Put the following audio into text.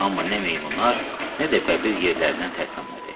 Amma nə meymunlar, nə də bəbir yerlərindən tərpənmədi.